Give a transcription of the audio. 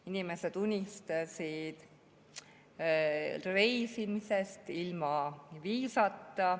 Inimesed unistasid reisimisest ilma viisata.